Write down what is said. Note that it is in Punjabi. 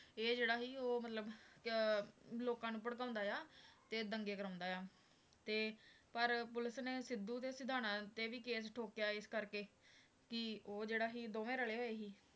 ਇਹ ਜਿਹੜਾ ਸੀ ਉਹ ਮਤਲਬ ਕਿ ਲੋਕਾਂ ਨੂੰ ਭੜਕਾਉਂਦਾ ਆ, ਤੇ ਦੰਗੇ ਕਰਵਾਉਂਦਾ ਆ, ਤੇ ਪਰ ਪੁਲਿਸ ਨੇ ਸਿੱਧੂ ਦੇ ਸਿਧਾਣਾਂ ਤੇ ਵੀ case ਠੋਕਿਆ ਇਸ ਕਰਕੇ ਕਿ ਉਹ ਜਿਹੜਾ ਸੀ ਦੋਵੇਂ ਰਲੇ ਹੋਏ ਸੀ।